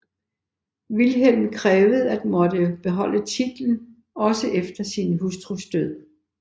Vilhelm krævede at måtte beholde titlen også efter sin hustrus død